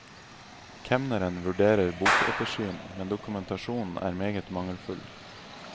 Kemneren vurderer bokettersyn, men dokumentasjonen er meget mangelfull.